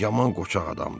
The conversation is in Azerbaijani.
Yaman qoçaq adamdır.